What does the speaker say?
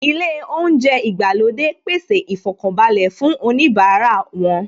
Ilé oúnjẹ ìgbàlódé pèsè ìfọkànbalẹ̀ fún oníbara wọn